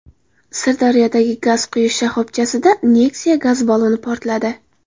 Sirdaryodagi gaz quyish shoxobchasida Nexia gaz balloni portladi.